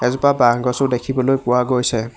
এজোপা বাঁহগছো দেখিবলৈ পোৱা গৈছে।